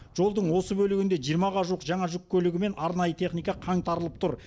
жолдың осы бөлігінде жиырмаға жуық жаңа жүк көлігі мен арнайы техника қаңтарылып тұр